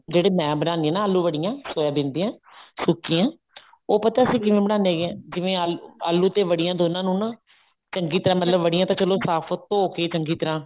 ਜਿਹੜੇ ਮੈਂ ਬਣਾਉਂਦੀ ਹਾਂ ਨਾ ਆਲੂ ਵੜੀਆਂ ਸੋਇਆਬਿਨ ਦੀਆਂ ਸੁੱਕੀਆਂ ਉਹ ਪਤਾ ਅਸੀਂ ਕਿਵੇਂ ਬਣਾਉਂਦੇ ਹੈਗੇ ਹਾਂ ਜਿਵੇਂ ਆਲੂ ਤੇ ਵੜੀਆਂ ਦੋਨਾ ਨੂੰ ਨਾ ਚੰਗੀ ਤਰ੍ਹਾਂ ਮਤਲਬ ਵੜਿਆ ਤਾਂ ਚਲੋ ਧੋ ਕੇ ਚੰਗੀ ਤਰ੍ਹਾਂ